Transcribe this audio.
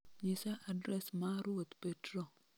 nyisa adres ma ruoth Petro